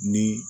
Ni